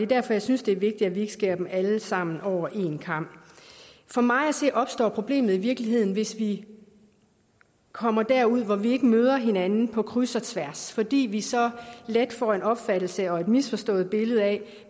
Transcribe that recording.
derfor jeg synes det er vigtigt at vi ikke skærer dem alle sammen over en kam for mig at se opstår problemet i virkeligheden hvis vi kommer derud hvor vi ikke møder hinanden på kryds og tværs fordi vi så let får en opfattelse og et misforstået billede af